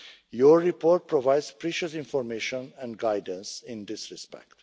Your report provides precious information and guidance in this respect.